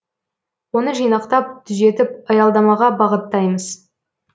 оны жинақтап түзетіп аялдамаға бағыттаймыз